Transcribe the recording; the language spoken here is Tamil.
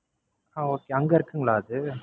Okay அங்க இருக்குங்கல்லா அது